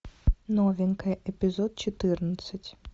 новенькая эпизод четырнадцать